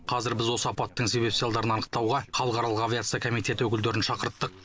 қазір біз осы апаттың себеп салдарын анықтауға халықаралық авиация комитеті өкілдерін шақырттық